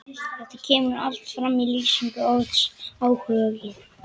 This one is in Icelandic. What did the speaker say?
Þetta kemur allt fram í lýsingu orðsins áhugi: